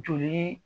Joli